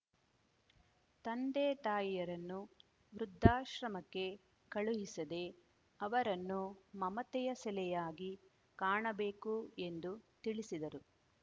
ತಂದೆತಾಯಿಯರನ್ನು ವೃದ್ಧಾಶ್ರಮಕ್ಕೆ ಕಳುಹಿಸದೇ ಅವರನ್ನು ಮಮತೆಯ ಸೆಲೆಯಾಗಿ ಕಾಣಬೇಕು ಎಂದು ತಿಳಿಸಿದರು